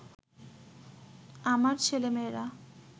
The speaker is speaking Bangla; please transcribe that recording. আমার ছেলেমেয়েরা